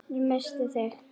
Ég missti þig.